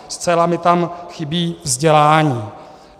Zcela mi tam chybí vzdělání.